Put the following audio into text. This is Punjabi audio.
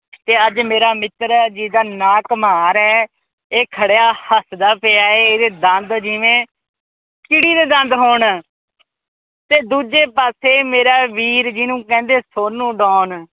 ਤੇ ਅੱਜ ਮੇਰਾ ਮਿੱਤਰ ਜੀਦਾ ਨਾ ਘਮਾਰ ਐ। ਇਹ ਖੜਿਆ ਹੱਸਦਾ ਪਿਆ ਐ ਇਹਦੇ ਦੰਦ ਜਿਵੇ ਚਿੜੀ ਦੇ ਦੰਦ ਹੋਣ। ਤੇ ਦੂਜੇ ਪਾਸੇ ਮੇਰਾ ਵੀਰ ਜਿਨੂੰ ਕਹਿੰਦੇ ਸੋਨੂ ਡੌਨ